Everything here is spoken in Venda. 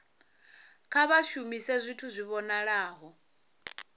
kha vha shumise zwithu zwi vhonalaho